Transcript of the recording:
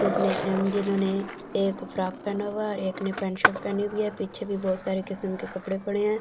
जिसने जिन्होंने एक फ्रॉक पहना हुआ है और एक ने पेंट शर्ट पहनी हुई है पीछे भी बहुत सारे किस्म के कपड़े पड़े हैं।